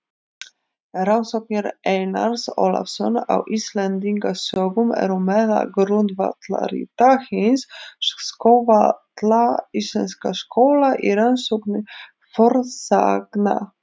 Rannsóknir Einars Ólafs á Íslendingasögum eru meðal grundvallarrita hins svokallaða íslenska skóla í rannsókn fornsagna.